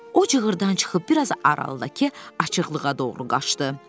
O cığrdan çıxıb biraz aralıdakı açıqlığa doğru qaçdı.